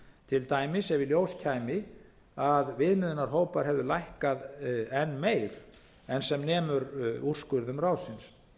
til dæmis ef í ljós kæmi að viðmiðunarhópar hefðu lækkað enn meir en sem nemur úrskurðum ráðsins